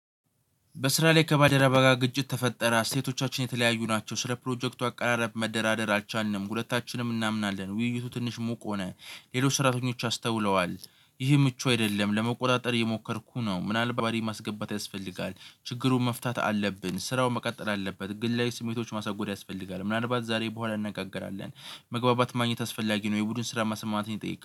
በስራ ላይ ከባለደረባ ጋራ ግጭት ተፈጠረ። እሴቶቻችን የተለያዩ ናቸው። ስለ ፕሮጀክቱ አቀራረብ መደራደር አልቻልንም። ሁለታችንም እናምናለን። ውይይቱ ትንሽ ሙቅ ሆነ ሌሎች ሰራተኞች አስተውለዋል ይህ ምቹ አይደለም። ለመቆጣጠር የሞከርኩ ነው። ምናልባት ማስገባት ያስፈልጋል። ችግሩን መፍታት አለብን። ስራውን መቀጠል አለበት። ግን ላይ ስሜቶች ማሳጎድ ያስፈልጋል ምናልባት ዛሬ በኋላ እንነጋገራለን መግባባት ማግኘት አስፈላጊ ነው የቡድን ስራ መሰማማትን ነው ይጠይቃል።